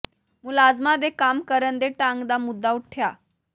ਮੁਲਾਜ਼ਮਾਂ ਦੇ ਕੰਮ ਕਰਨ ਦੇ ਢੰਗ ਦਾ ਮੁੱਦਾ ਉਠਿਆ